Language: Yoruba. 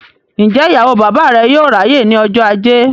Ǹjẹ́ ìyàwó bàbá rẹ yóò ráyè ní ọjọ́ ajé?